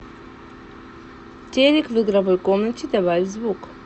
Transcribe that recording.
телек в игровой комнате добавь звук